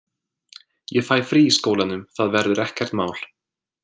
Ég fæ frí í skólanum, það verður ekkert mál.